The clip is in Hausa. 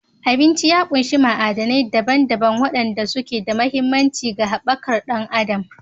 Abinci ya ƙunshi ma'adanai daban-daban waɗanda suke da mahimmanci ga haɓakar ɗan adam